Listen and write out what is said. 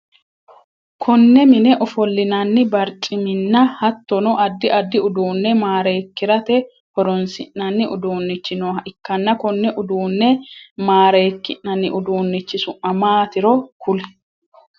Konne mine ofolinnanni barcimminna hattono addi addi uduune mareekirate horoonsi'nanni uduunichi nooha ikanna konne uduune mareeki'nanni uduunnichi su'ma maatiro kuli?